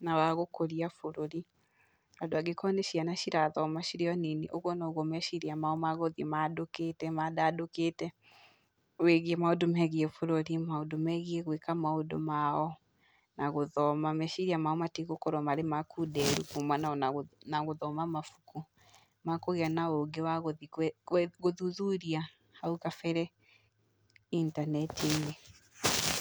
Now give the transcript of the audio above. na wa gũkũria bũrũri, tondũ angĩkorwo nĩ ciana irathoma cirĩ o nini, ũguo noguo meciria mao magũthiĩ mandũkĩte mandandũkĩte wĩgiĩ maũndũ megiĩ bũrũri, maũndũ megiĩ gwĩka maũndũ mao na gũthoma, meciria mao matigũkorwo marĩ makunderu kuumana ona gũthoma mabuku, makũgĩa na ũgĩ wa gũthiĩ gũthuthuria hau gabere intaneti-inĩ.